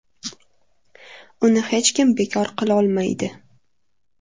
Uni hech kim bekor qilolmaydi.